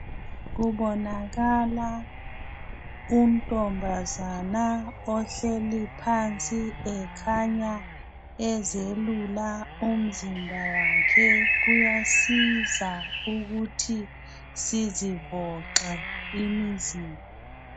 Kubonakala untombazana ohleli phansi ekhanya ezelula umzimba wakhe , kuyasiza ukuthi sizivoxe imzimba